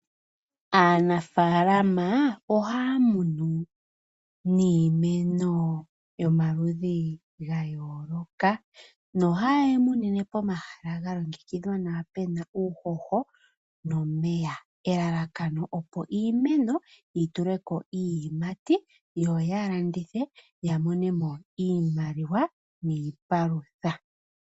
Aanafalama ohaya munu niimeno yomaludhi gayooloka nohaye yi munine po mahala ga longekidhwa nawa pena uuhoho nomeya. Elalakano opo iimeno yi tuleko iiyimati yo ya landithe ya monemo iimaliwa niipalutha.